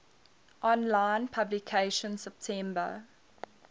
online publication september